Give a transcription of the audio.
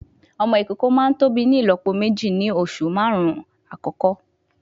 Ọmọ ìkókó máa tóbi ní ìlópo méjì ní oṣù márùn-ún àkọ́kọ́